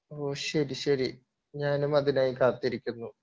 ഓഹ് ശെരി ശെരി ഞാനും അതിനായി കാത്തിരിക്കുന്നു